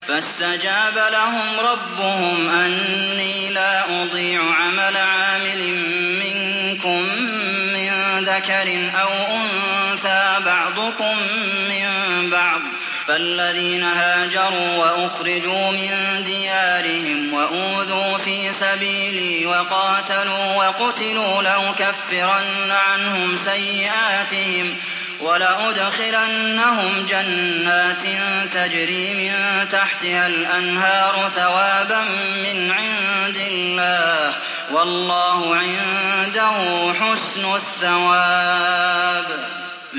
فَاسْتَجَابَ لَهُمْ رَبُّهُمْ أَنِّي لَا أُضِيعُ عَمَلَ عَامِلٍ مِّنكُم مِّن ذَكَرٍ أَوْ أُنثَىٰ ۖ بَعْضُكُم مِّن بَعْضٍ ۖ فَالَّذِينَ هَاجَرُوا وَأُخْرِجُوا مِن دِيَارِهِمْ وَأُوذُوا فِي سَبِيلِي وَقَاتَلُوا وَقُتِلُوا لَأُكَفِّرَنَّ عَنْهُمْ سَيِّئَاتِهِمْ وَلَأُدْخِلَنَّهُمْ جَنَّاتٍ تَجْرِي مِن تَحْتِهَا الْأَنْهَارُ ثَوَابًا مِّنْ عِندِ اللَّهِ ۗ وَاللَّهُ عِندَهُ حُسْنُ الثَّوَابِ